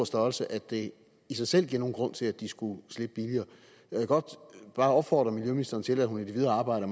størrelse at det i sig selv giver nogen grund til at de skulle slippe billigere jeg vil godt bare opfordre miljøministeren til at hun i det videre arbejde